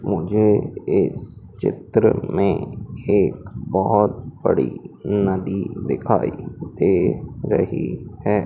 मुझे इस चित्र में एक बहोत बड़ी नदी दिखाई दे रही है।